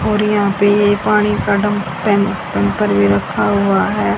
और यहां पे ये पानी का डम टै टैंकर भी रखा हुआ है।